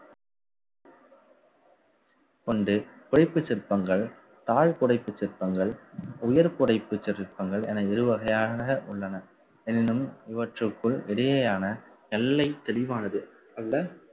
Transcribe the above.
கொண்டு புடைப்புச் சிற்பங்கள் தாழ் புடைப்புச் சிற்பங்கள் உயர் துடைப்புச் சிற்பங்கள் என இருவகையான உள்ளன எனினும் இவற்றுக்குள் இடையேயான எல்லை தெளிவானது அல்ல